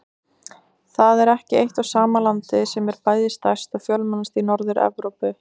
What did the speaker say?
Það er ekki eitt og sama landið sem er bæði stærst og fjölmennast í Norður-Evrópu.